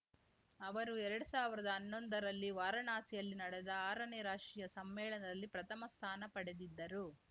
ಅವರು ಎರಡ್ ಸಾವಿರ್ದಾ ಅನ್ನೊಂದರಲ್ಲಿ ವಾರಾಣಸಿಯಲ್ಲಿ ನಡೆದ ಆರನೇ ರಾಷ್ಟ್ರೀಯ ಸಮ್ಮೇಳನದಲ್ಲಿ ಪ್ರಥಮ ಸ್ಥಾನ ಪಡೆದಿದ್ದರು